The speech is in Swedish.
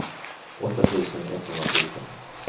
åtta tusen etthundrasjutton